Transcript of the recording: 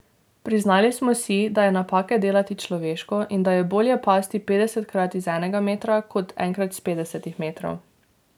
Priznali smo si, da je napake delati človeško in da je bolje pasti petdesetkrat z enega metra kot enkrat s petdesetih metrov.